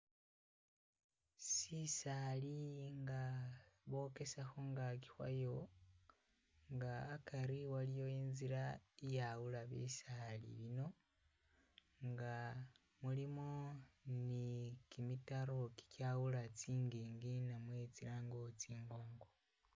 Sisali nga bokesa khungaki khwayo nga akari waliyo inzila iyawula bisaali bino nga mulimo ne kimitaro kikyawula tsingingi namwe tsilange uri tsingongo.